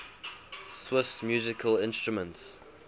swiss musical instruments